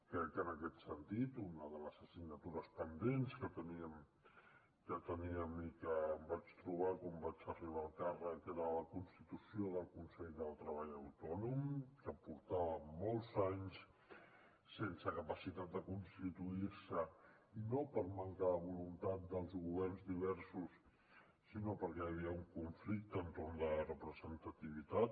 crec que en aquest sentit una de les assignatures pendents que teníem i que em vaig trobar quan vaig arribar al càrrec era la constitució del consell del treball autònom que portava molts anys sense capacitat de constituir se i no per manca de voluntat dels governs diversos sinó perquè hi havia un conflicte entorn de la representativitat